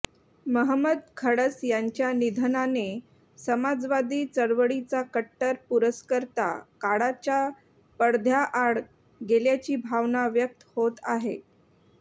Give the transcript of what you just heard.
महमद खडस यांच्या निधनाने समाजवादी चळवळीचा कट्टर पुरस्कर्ता काळाच्या पडद्याआड गेल्याची भावना व्यक्त होत आहे